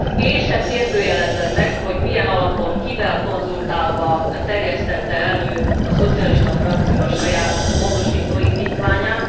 Én sem kérdőjelezem meg, hogy milyen alapon kivel konzultálva terjesztette elő a szocialista frakció a saját módosító indítványát.